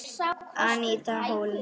Aníta Hólm.